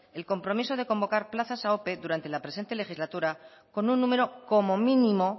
el compromiso de convocar plazas a ope durante la presente legislatura con un número como mínimo